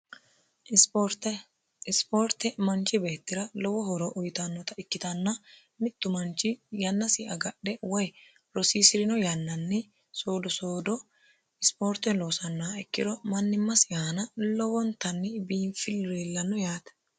isipoorte manchi beettira lowo horo uyitannota ikkitanna mittu manchi yannasi agadhe woy rosiisi'rino yannanni soodosoodo ispoorte loosannah ikkiro mannimmasi haana lowontanni biinfillu no yaate